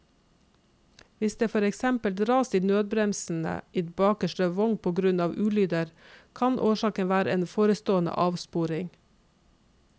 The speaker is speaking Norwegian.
Hvis det for eksempel dras i nødbremsen i bakerste vogn på grunn av ulyder, kan årsaken være en forestående avsporing.